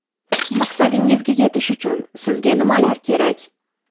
Maqsadingizga yetish uchun sizga nimalar kerak?